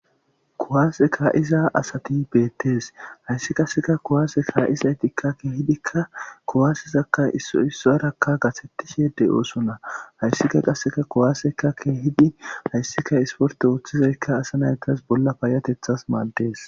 Kuwase ka'iza asati betes haysi qase kuwases ka'izaytika kehidikka kuwaseza issoy issuwaraka qaxetishe de'osona haysika qaseka kuwaseka kehidi haysika esporte othizasaka asa nans bolla payatethas mades